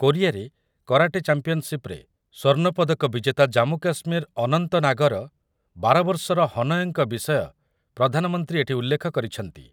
କୋରିଆରେ କରାଟେ ଚାମ୍ପିୟନ୍‌ସିପ୍‌ରେ ସ୍ୱର୍ଣ୍ଣପଦକ ବିଜେତା ଜାମ୍ମୁକାଶ୍ମୀର ଅନନ୍ତନାଗର ବାର ବର୍ଷର ହନୟଙ୍କ ବିଷୟ ପ୍ରଧାନମନ୍ତ୍ରୀ ଏଠି ଉଲ୍ଲେଖ କରିଛନ୍ତି ।